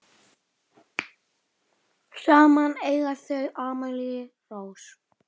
Saman eiga þau Amelíu Rós.